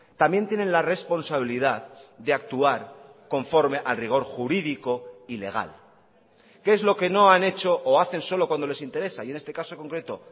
también tienen la responsabilidad de actuar conforme al rigor jurídico y legal que es lo que no han hecho o hacen solo cuando les interesa y en este caso concreto